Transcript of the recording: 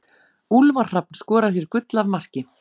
Úlfar Hrafn skorar hér gull af marki.